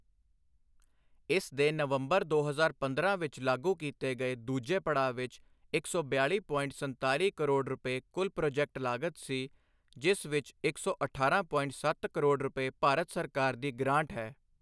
ਇਸ ਦੇ ਨੰਵਬਰ ਦੋ ਹਜ਼ਾਰ ਪੰਦਰਾਂ ਵਿੱਚ ਲਾਗੂ ਕੀਤੇ ਗਏ ਦੂਜੇ ਪੜਾਅ ਵਿੱਚ ਇੱਕ ਸੌ ਬਿਆਲੀ ਪੋਇੰਟ ਸੰਤਾਲੀ ਕਰੋੜ ਰੁਪਏ ਕੁੱਲ ਪ੍ਰਾਜੈਕਟ ਲਾਗਤ ਸੀ, ਜਿਸ ਵਿੱਚ ਇੱਕ ਸੌ ਅਠਾਰਾਂ ਪੋਇੰਟ ਸੱਤ ਕਰੋੜ ਰੁਪਏ ਭਾਰਤ ਸਰਕਾਰ ਦੀ ਗਰਾਂਟ ਹੈ।